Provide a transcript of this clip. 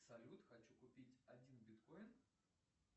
салют хочу купить один биткоин